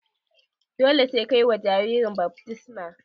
Dole sai ka yi wa jaririn baftisma.